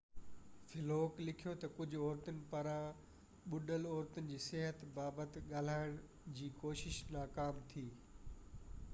فِلُوڪ لِکيو ته ڪجهه عورتن پاران ٻُڏل عورتن جي صحت بابت ڳالهائڻ جي ڪوشش ناڪام ٿي